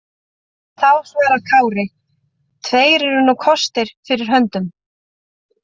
Þá svaraði Kári: Tveir eru nú kostir fyrir höndum.